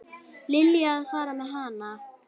Lillý: Að fara með hana?